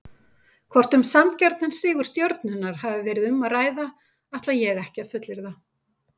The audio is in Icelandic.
Hvort um sanngjarnan sigur Stjörnunnar hafi verið um að ræða ætla ég ekki að fullyrða.